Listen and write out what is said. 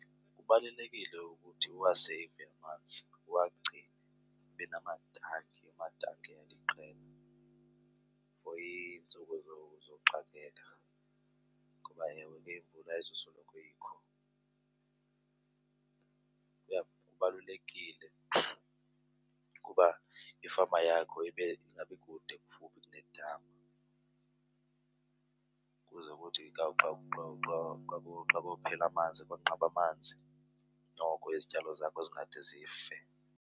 Kubalulekile ukuthi uwaseyive amanzi, uwagcine, ube namatanki, amatanki aliqela for iintsuku zoxakeka ngoba ewe ke imvula ayizusoloko ikho. Kubalulekile ukuba ifama yakho ibe ingabi kude kufuphi kunedami ukuze ukuthi xa kuphela amanzi, xa kunqabe amanzi noko izityalo zakho zingade zife.